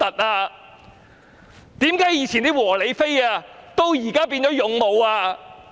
為何過去的"和理非"至今也變成"勇武"？